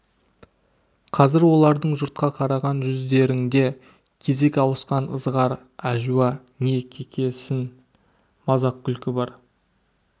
қазір олардың жұртқа қараған жүздеріңде кезек ауысқан ызғар әжуа не кекесін мазақ күлкі бар